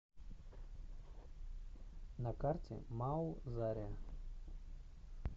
на карте мау заря